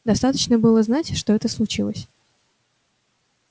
достаточно было знать что это случилось